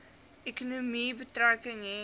ekonomie betrekking hê